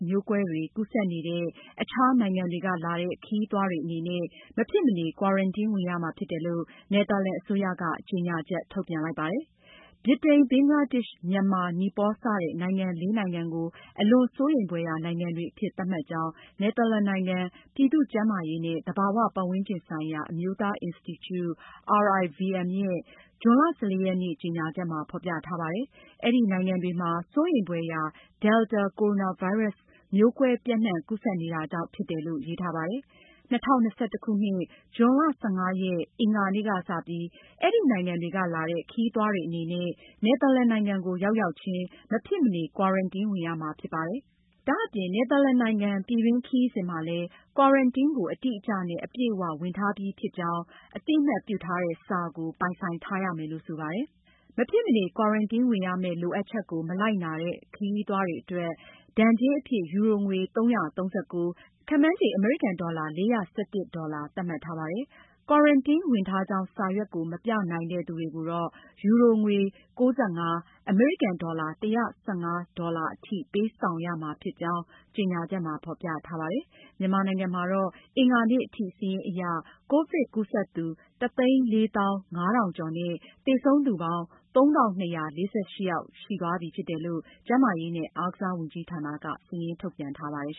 မျိုးကွဲတွေ ကူးစက်နေတဲ့ အခြားနိုင်ငံတွေကလာတဲ့ ခရီးသွားတွေအနေနဲ့ မဖြစ်မနေ ကွာရန်တင်းဝင်ရမှာဖြစ်တယ်လို့ နယ်သာလန်အစိုးရက ကြေညာချက် ထုတ်ပြန်လိုက်ပါတယ်။ ဗြိတိန်၊ ဘင်္ဂလားဒေ့ရှ်၊ မြန်မာ၊ နီပေါလ် စတဲ့ နိုင်ငံ လေး နိုင်ငံကို အလွန်စိုးရိမ်ဖွယ်ရာ နိုင်ငံတွေအဖြစ် သတ်မှတ်ကြောင်း နယ်သာလန်နိုင်ငံ ပြည်သူ့ကျန်းမာရေးနဲ့ သဘာဝပတ်ဝန်းကျင်ဆိုင်ရာ အမျိုးသားအင်စတီကျူ (RIVM) ရဲ့ ဇွန်လ (၁၄)ရက်နေ့ ကြေညာချက်မှာ ဖေါ်ပြထားပါတယ်။ အဲဒီနိုင်ငံတွေမှာ စိုးရိမ်ဖွယ်ရာ Delta ကိုရိုနာဗိုင်းရပ်စ် မျိုးကွဲပျံ့နှံ့ကူးစက်နေတာကြောင့် ဖြစ်တယ်လို့ ရေးထားပါတယ်။ ၂၀၂၁ ဇွန် ၁၅ ရက်၊ အင်္ဂါနေ့ ကစပြီး အဲဒီနိုင်ငံတွေကလာတဲ့ခရီးသွားတွေအနေနဲ့ နယ်သာလန်နိုင်ငံကို ရောက်ရောက်ချင်း မဖြစ်မနေ ကွာရန်တင်းဝင်ရမှာဖြစ်ပါတယ်။ ဒါအပြင် နယ်သာလန်နိုင်င် ပြည်တွင်း ခရီးစဉ်မှာလည်း ကွာရန်တင်းကို အတိအကျနဲ့အပြည့်အ၀ ဝင်ထားပြီးပြီဖြစ်ကြောင်း အသိအမှတ်ပြုထားတဲ့ စာကို ပိုင်ဆိုင်ထားရမယ်လို့ ဆိုပါတယ်။ မဖြစ်မနေ ကွာရန်တင်းဝင်ရမယ့် လိုအပ်ချက်ကို မလိုက်နာတဲ့ ခရီးသွားတွေအတွက် ဒဏ်ကြေးအဖြစ် ယူရိုငွေ ၃၃၉ (ခန့်မှန်းခြေ အမေရိကန်ဒေါ်လာ ၄၁၁ ဒေါ်လာ) သတ်မှတ်ထားပါတယ်။ ကွာရန်တင်းဝင်ထားကြောင်း စာရွက်ကို မပြနိုင်တဲ့သူတွေကို ယူရို ၉ ၅ ( အမေရိကန်ဒေါ်လာ ၁၁၅) အထိ ပေးဆောင်ရမှာဖြစ်ကြောင်း ကြေညာချက်မှာ ဖေါ်ပြထားပါတယ်။ မြန်မာနိုင်ငံမှာတော့ အင်္ဂါနေ့ထိ စာရင်းအရ မြန်မာနိုင်ငံမှာ ကိုဗစ်ကူးစက်သူ ၁ သိန်း ၄ သောင်း ၅ ထောင်ကျော်နဲ့ သေဆုံးသူ ၃၂၄၈ ယောက်ရှိသွားပြီ ဖြစ်တယ်လို့ ကျန်းမာရေးနဲ့ အားကစားဝန်ကြီးဌာနက စာရင်းထုတ်ပြန်ထားပါတယ်